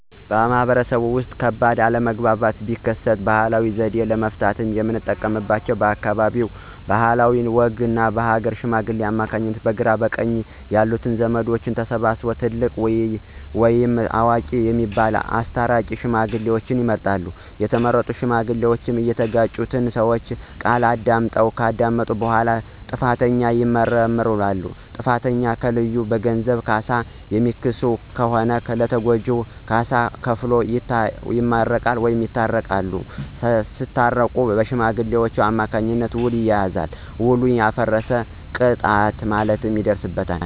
በማህበረሰቡ ውስጥ ከባድ አለመግባባት ቢከሰት ባህላዊ ዘዴ ለመፍታት የምንጠቀምባቸው በአካባቢው ባህልና ወግ በሀገረ ሽማግሌዎች አማካኝነት በግራ በቀኝ ያሉ ዘመዶች ተሰብስበው ትልልቅ ወይም አዋቂ የሚባሉት አስታራቂ ሽማግሌዎችን ይመርጣሉ። የተመረጡ ሽማግሌዎች እየተጋጩትን ሰወች ቃል ያዳምጣሉ። ከዳመጡ በኋላ ጥፋተኛውን ይመረምራሉ። ጥፋተኛውን ከለዩ በገንዘብ ካሳ የሚክስ ከሆነ ለተጎጁ ካሳ ከፍሎ ይመረቃል ወይም በይቅርታ ይታረቃሉ። ሳታረቁ በሽማግሌዎች አማካኝነት ዉል ይያያዛል። ዉሉ ያፈረሰ ይቀጣል ማለት ነው።